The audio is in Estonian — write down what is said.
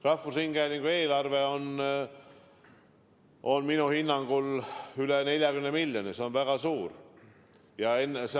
Rahvusringhäälingu eelarve on minu teada üle 40 miljoni – see on väga suur summa.